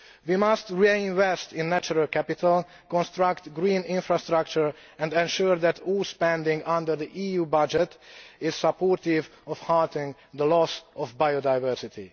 We must reinvest in natural capital, construct green infrastructure and ensure that all spending under the EU budget is supportive of halting the loss of biodiversity.